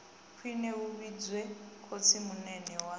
khwine hu vhidzwe khotsimunene wa